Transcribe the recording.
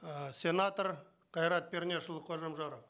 ы сенатор қайрат пернешұлы қожамжаров